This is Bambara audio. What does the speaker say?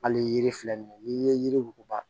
Hali yiri filɛ nin ye n'i ye yiri wuguba